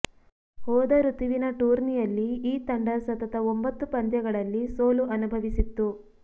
ಹೋದ ಋತುವಿನ ಟೂರ್ನಿಯಲ್ಲಿ ಈ ತಂಡ ಸತತ ಒಂಬತ್ತು ಪಂದ್ಯಗಳಲ್ಲಿ ಸೋಲು ಅನುಭವಿಸಿತ್ತು